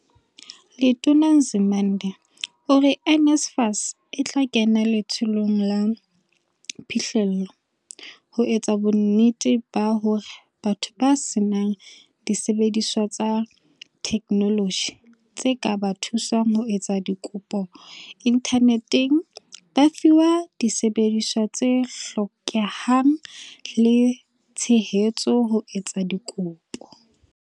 Letona Nzimande ore NSFAS e tla kena letsholong la phihlello, ho etsa bonnete ba hore batho ba senang disebediswa tsa theknoloji tse ka ba thusang ho etsa dikopo inthaneteng ba fiwa disebediswa tse hlokehang le tshehetso ho etsa dikopo.